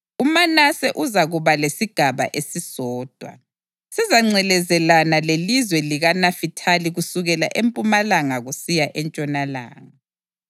UManase uzakuba lesigaba esisodwa; sizangcelezelana lelizwe likaNafithali kusukela empumalanga kusiya entshonalanga.